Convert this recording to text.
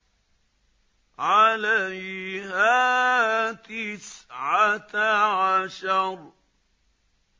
عَلَيْهَا تِسْعَةَ عَشَرَ